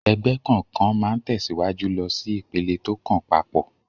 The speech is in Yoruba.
Ẹgbẹ́ kọ̀ọ̀kan máa ń tẹ̀síwájú lọ sí ìpele tó kàn pap